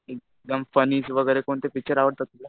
एकदम फनी वगैरे कोणते पिक्चर आवडतात तुला?